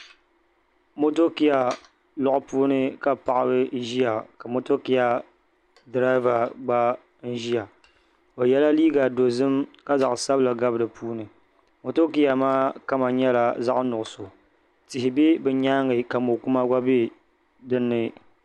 Motokia lɔɣu puuni ka paɣiba ʒia ka motokia dirava gba ʒia o yɛla liiga dozim ka zaɣ' sabila gabi di puuni motokia maa kama nyɛla zaɣ' nuɣuso tihi be bɛ nyaaŋa ka mo' kuma gba dinni